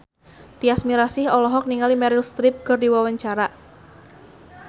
Tyas Mirasih olohok ningali Meryl Streep keur diwawancara